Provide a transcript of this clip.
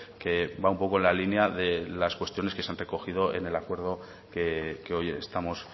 que va un poco en la línea de las cuestiones que se han recogido en el acuerdo que hoy estamos